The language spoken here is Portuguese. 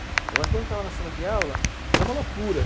Agora, quando eu estava na sala de aula, era uma loucura.